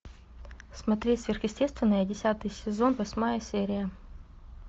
смотреть сверхъестественное десятый сезон восьмая серия